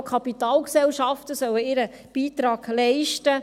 Auch die Kapitalgesellschaften sollen ihren Beitrag leisten.